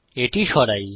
এটি সরাই